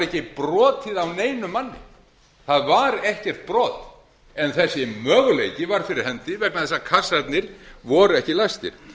ekki brotið á neinum manni það var ekkert brot en þessi möguleiki var fyrir hendi vegna þess að kassarnir voru ekki læstir